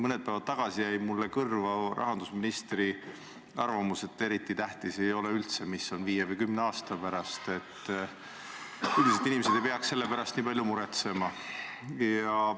Mõni päev tagasi jäi mulle kõrva rahandusministri arvamus, et pole eriti tähtis, mis on viie või kümne aasta pärast, et üldiselt inimesed ei peaks selle pärast nii palju muretsema.